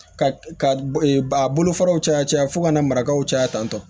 Ka ka a bolofaraw caya caya fo ka na marakaw caya tantɔ